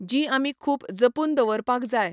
जी आमी खूब जपून दवरपाक जाय.